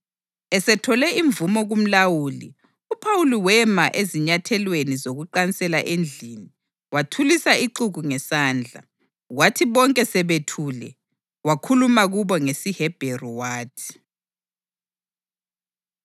Esethole imvumo kumlawuli, uPhawuli wema ezinyathelweni zokuqansela endlini wathulisa ixuku ngesandla. Kwathi bonke sebethule wakhuluma kubo ngesiHebheru wathi,